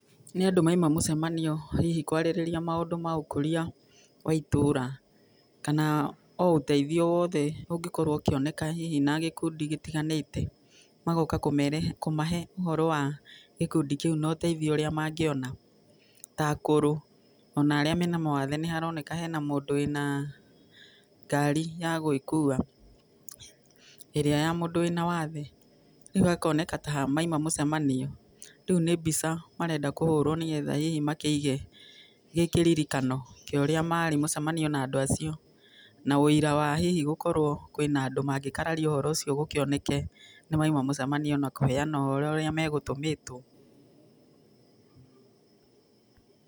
Nĩ andũ mauma mũcemanio hihi kwarĩrĩria maũndũ magũkũria wa itũũra, kana o ũteithio o wothe ũngĩkorwo ũkĩoneka na gĩkundi gĩtiganĩte. Magoka kũmahe ũhoro wa gĩkundi kĩu na ũteithio ũrĩa mangĩona, ta akũrũ, ona arĩa mena mawathe nĩmaraoneka hena mũndũ wĩna ngari ya gwĩkua, irĩa ya mũndũ wĩna wathe, rĩu hakoneka ta mauma mũcemanio, rĩu nĩ mbica marenda kũhũrwo nĩgetha hihi makĩige gĩkĩririkano kĩorĩa marĩ mũcemanio na andũ acio, na wũira wa hihi gũkorwo kwĩna andũ mangĩkararia ũndũ ũcio gũkĩoneke nĩ mauma mũcemanio, na kũheana ũhoro ũrĩa megũtũmĩtwo.